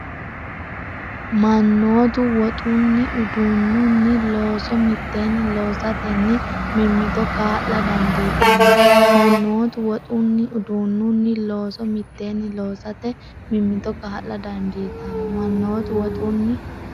Mannotu woxunni, uduunnunni, looso mitteenni loosatenni mimmito kaa’la dandiitanno Mannotu woxunni, uduunnunni, looso mitteenni loosatenni mimmito kaa’la dandiitanno Mannotu woxunni,.